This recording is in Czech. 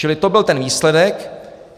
Čili to byl ten výsledek.